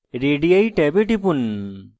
radii ট্যাবে টিপুন